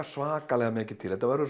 svakalega mikið til þetta verður